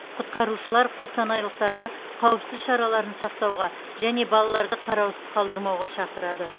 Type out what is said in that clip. құтқарушылар қостанайлықтарды қауіпсіздік шараларын сақтауға және балаларды қараусыз қалдырмауға шақырады